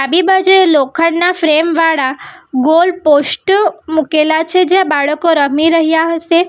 એ બાજુએ લોખંડના ફ્રેમ વાળા ગોલ પોસ્ટ મૂકેલા છે જ્યાં બાળકો રમી રહ્યા હશે.